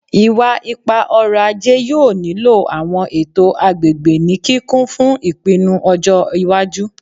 Iwa-ipa-ọrọ-aje yoo nilo awọn eto agbegbe ni kikun fun ipinnu ọjọ iwaju